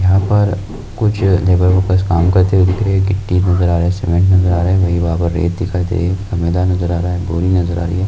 यहाँ पर कुछ लेबर वरकर काम करते हुये दिख रहे है गिट्टी नजर आ रही है मैदान नज़र आ रा है बोरी नजर आ रही है।